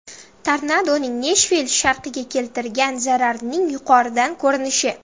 Tornadoning Neshvill sharqiga keltirgan zararining yuqoridan ko‘rinishi.